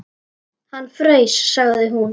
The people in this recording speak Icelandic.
Hann fraus, sagði hún.